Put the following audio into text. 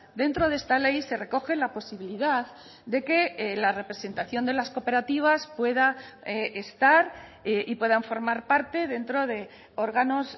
dentro de esta ley se recoge la posibilidad de que la representación de las cooperativas pueda estar y puedan formar parte dentro de órganos